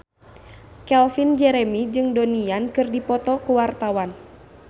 Calvin Jeremy jeung Donnie Yan keur dipoto ku wartawan